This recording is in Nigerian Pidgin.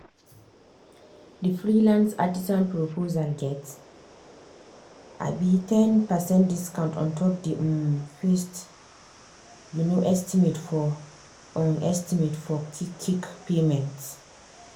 the freelance artisan proposal get um ten percent discount ontop the um fest um estimate for um estimate for qik qik payment.